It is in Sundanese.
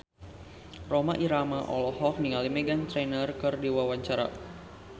Rhoma Irama olohok ningali Meghan Trainor keur diwawancara